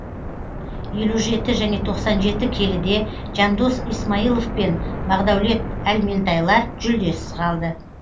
елу жеті және тоқсан жеті келіде жандос исмайлов пен бағдаулет әлментайлар жүлдесіз қалды